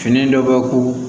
Fini dɔ bɛ ko